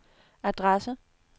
adresse